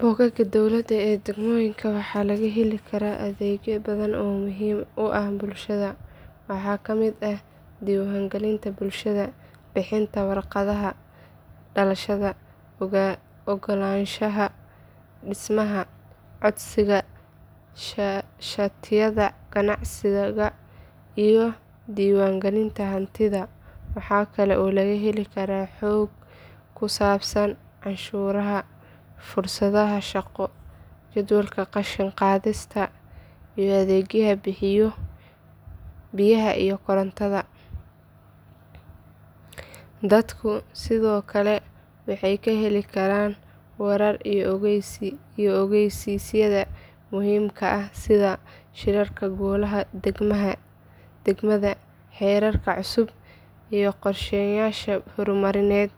Bogagga dowladda ee degmooyinka waxaa laga heli karaa adeegyo badan oo muhiim u ah bulshada. Waxaa ka mid ah diiwaangelinta dhalashada, bixinta waraaqaha dhalashada, oggolaanshaha dhismaha, codsiga shatiyada ganacsiga iyo diiwaangelinta hantida. Waxa kale oo laga heli karaa xog ku saabsan canshuuraha, fursadaha shaqo, jadwalka qashin qaadista, iyo adeegyada biyaha iyo korontada. Dadku sidoo kale waxay ka heli karaan wararka iyo ogeysiisyada muhiimka ah sida shirarka golaha degmada, xeerarka cusub, iyo qorsheyaasha horumarineed